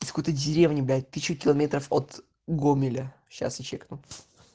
из какой-то деревни блять тысячу километров от гомеля сейчас я чекну